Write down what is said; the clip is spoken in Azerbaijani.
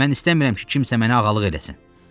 Mən istəmirəm ki, kimsə mənə ağalıq eləsin.